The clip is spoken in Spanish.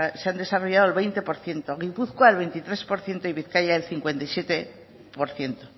se han desarrollado el veinte por ciento gipuzkoa el veintitrés por ciento y bizkaia el cincuenta y siete por ciento